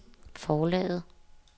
forlaget